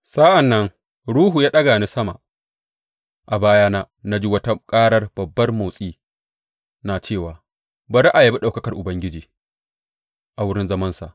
Sa’an nan Ruhu ya ɗaga ni sama, a bayana na ji wata karar babban motsi na cewa, Bari a yabi ɗaukakar Ubangiji a wurin zamansa!